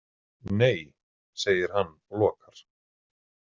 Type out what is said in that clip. Nei, segir hann og lokar.